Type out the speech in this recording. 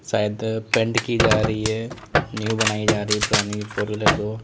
शायद पेंट की जा रही है न्यू बनाई जा रही है पुरानी फोर व्हीलर को।